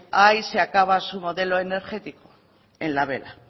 ahí se acaba su modelo energético en la vela